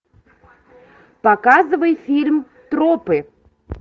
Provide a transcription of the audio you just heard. показывай фильм тропы